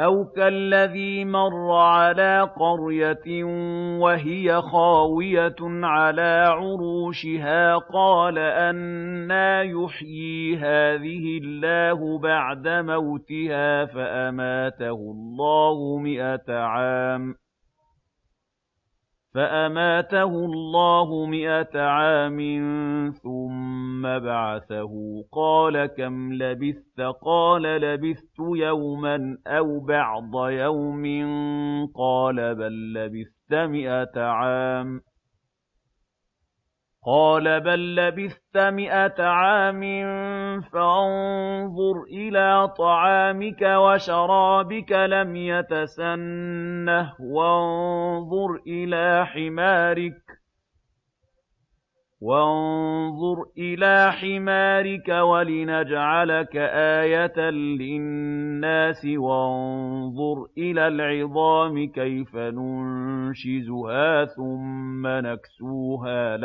أَوْ كَالَّذِي مَرَّ عَلَىٰ قَرْيَةٍ وَهِيَ خَاوِيَةٌ عَلَىٰ عُرُوشِهَا قَالَ أَنَّىٰ يُحْيِي هَٰذِهِ اللَّهُ بَعْدَ مَوْتِهَا ۖ فَأَمَاتَهُ اللَّهُ مِائَةَ عَامٍ ثُمَّ بَعَثَهُ ۖ قَالَ كَمْ لَبِثْتَ ۖ قَالَ لَبِثْتُ يَوْمًا أَوْ بَعْضَ يَوْمٍ ۖ قَالَ بَل لَّبِثْتَ مِائَةَ عَامٍ فَانظُرْ إِلَىٰ طَعَامِكَ وَشَرَابِكَ لَمْ يَتَسَنَّهْ ۖ وَانظُرْ إِلَىٰ حِمَارِكَ وَلِنَجْعَلَكَ آيَةً لِّلنَّاسِ ۖ وَانظُرْ إِلَى الْعِظَامِ كَيْفَ نُنشِزُهَا ثُمَّ نَكْسُوهَا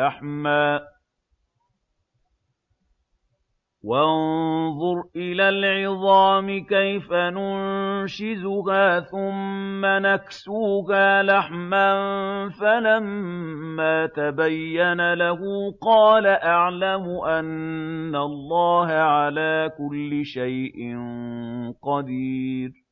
لَحْمًا ۚ فَلَمَّا تَبَيَّنَ لَهُ قَالَ أَعْلَمُ أَنَّ اللَّهَ عَلَىٰ كُلِّ شَيْءٍ قَدِيرٌ